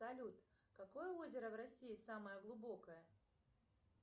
салют какое озеро в россии самое глубокое